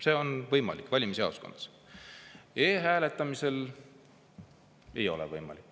See on võimalik valimisjaoskonnas, e-hääletamisel ei ole võimalik.